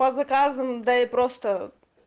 по заказам да и просто